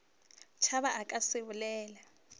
tšhaba o ka se bolele